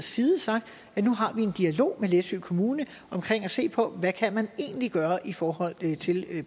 side sagt at nu har vi en dialog med læsø kommune omkring at se på hvad man egentlig kan gøre i forhold til